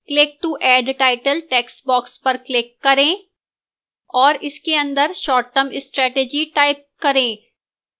click to add title textbox पर click करें और इसके अंदर short term strategy type करें